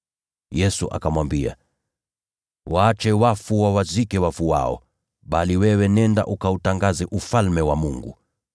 Yesu akamwambia, “Waache wafu wawazike wafu wao, bali wewe nenda ukautangaze Ufalme wa Mungu.”